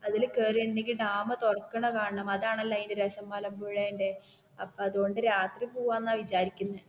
അതിൽ കേറിയിട്ട് ഉണ്ടങ്കിൽ ഡാം തുറക്കണ കാണണം അതാണല്ലേ അതിൻ്റെ രസം മലമ്പഴുന്റെ അതുകൊണ്ട് രാത്രി പോകാമെന്നാ വിചാരിക്കുന്നേ